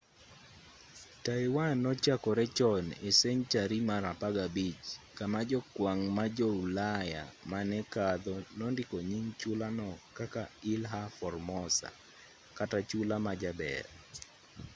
taiwan nochakore chon e senchari mar 15 kama jokwang' ma jo-ulaya mane kadho nondiko nying chula no kaka ilha formosa kata chula ma jaber